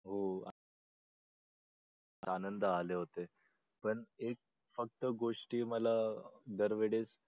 हो आनंद आले होते पण ते फक्त गोष्टी मला दर वेळेस